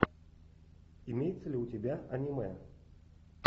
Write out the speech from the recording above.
имеется ли у тебя аниме